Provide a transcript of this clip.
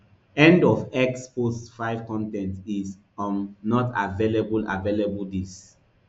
end of x post five con ten t is um not available available dis